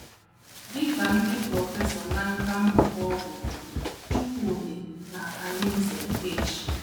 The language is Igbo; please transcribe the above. Dị ka ndị prọfesọ na nkà mmụta ọgwụ bụ́ Chukwudi na Arinze H.